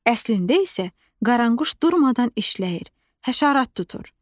Əslində isə qaranquş durmadan işləyir, həşərat tutur.